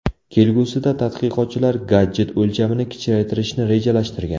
Kelgusida tadqiqotchilar gadjet o‘lchamini kichraytirishni rejalashtirgan.